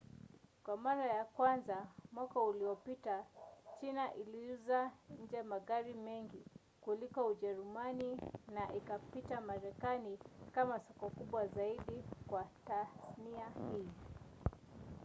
kwa mara ya kwanza mwaka uliopita china iliuza nje magari mengi kuliko ujerumani na ikapita marekani kama soko kubwa zaidi kwa tasnia hii